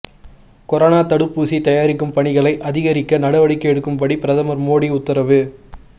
corona தடுப்பூசி தயாரிக்கும் பணிகளை அதிகரிக்க நடவடிக்கை எடுக்கும்படி பிரதமர் மோடி உத்தரவு